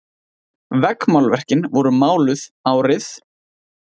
Veggmálverkin voru máluð árið